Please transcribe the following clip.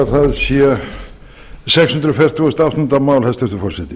það sé sex hundruð fertugasta og áttunda mál hæstvirtur forseti